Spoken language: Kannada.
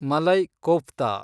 ಮಲೈ ಕೋಫ್ತಾ